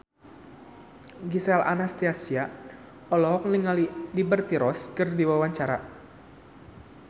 Gisel Anastasia olohok ningali Liberty Ross keur diwawancara